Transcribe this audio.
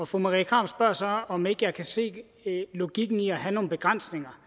fru marie krarup spørger så om ikke jeg kan se logikken i at have nogle begrænsninger